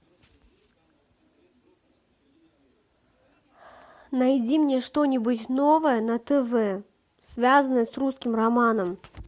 найди мне что нибудь новое на тв связанное с русским романом